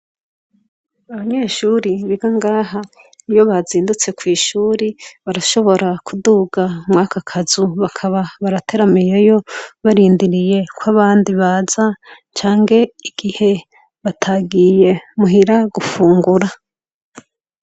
Abanyeshure biga ngaha ,iyo bazindutse kw’ishure, barashobora kuduga mwaka kazu bakaba barateramiyeyo ,barindiriye kw’abandi baza canke igihe batagiye muhira gufungura.